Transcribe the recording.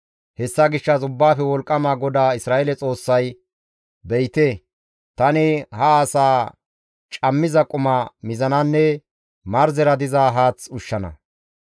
Hessa gishshas Ubbaafe Wolqqama GODAA Isra7eele Xoossay, «Be7ite, tani ha asaa cammiza quma mizananne marzera diza haath ushshana.